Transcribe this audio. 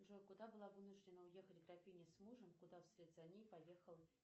джой куда была вынуждена уехать графиня с мужем куда вслед за ней поехал